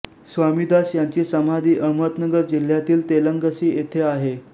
स्वामीदास यांची समाधी अहमदनगर जिल्ह्यातील तेलंगसी येथे आहे